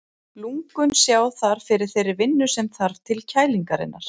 Lungun sjá þar fyrir þeirri vinnu sem þarf til kælingarinnar.